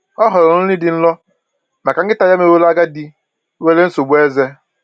Ọ họọrọ nri dị nro maka nkịta ya meworo agadi nwere nsogbu eze.